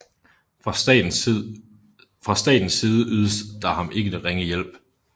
Fra statens side ydedes der ham ikke ringe hjælp